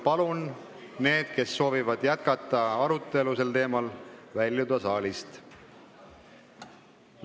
Palun neil, kes soovivad jätkata oma arutelu, väljuda saalist!